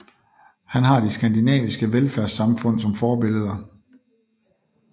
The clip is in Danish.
Han har de skandinaviske velfærdssamfund som forbilleder